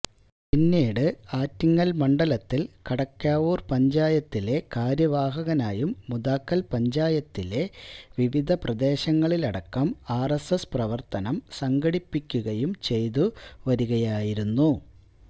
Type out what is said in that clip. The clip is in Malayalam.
പിന്നീട് ആറ്റിങ്ങൽ മണ്ഡലത്തിൽ കടക്കാവൂർ പഞ്ചായത്തിലെ കാര്യവാഹകായും മുതാക്കൽ പഞ്ചായത്തിലെ വിവിധ പ്രദേശങ്ങളിലടക്കം ആർഎസ്എസ് പ്രവർത്തനം സംഘടിപ്പിക്കുകയും ചെയ്തു വരികയായിരുന്നു